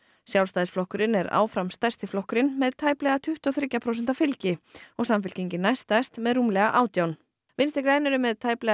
Sjálfstæðisflokkurinn er áfram stærsti flokkurinn með tæplega tuttugu og þriggja prósenta fylgi og Samfylkingin næststærst með rúmlega átján vinstri græn eru með tæplega